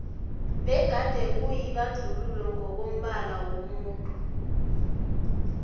begade kuyibandluuo ngokombala womuntu